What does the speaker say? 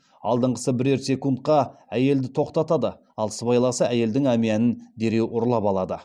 алдыңғысы бірер секундқа әйелді тоқтатады ал сыбайласы әйелдің әмиянын дереу ұрлап алады